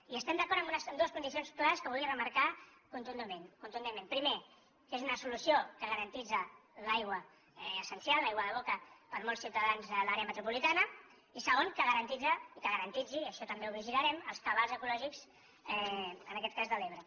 i hi estem d’acord amb dues condicions clares que vull remarcar contundentment primera que és una solució que garanteix l’aigua essencial l’aigua de boca per a molts ciutadans de l’àrea metropolitana i segona que garanteix i que garanteixi això també ho vigilarem els cabals ecològics en aquest cas de l’ebre